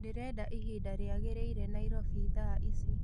ndĩrenda ĩhĩnda riagirire nyairobi thaa ĩcĩ